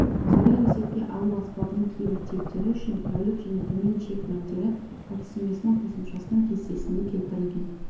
суды есепке алу аспабының кейбір типтері үшін тәулік және төмен шек мәндері әдістеменің қосымшасының кестесінде келтірілген